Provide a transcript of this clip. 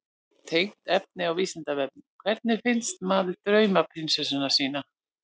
Tengt efni á Vísindavefnum: Hvernig finnur maður draumaprinsessuna sína?